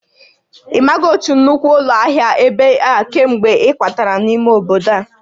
Ị maghị otu nnukwu ụlọ ahịa ebe a kemgbe ị kwatara n'ime obodo a?